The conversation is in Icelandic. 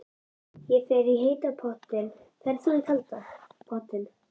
Ég fer í heita pottinn. Ferð þú í kalda pottinn?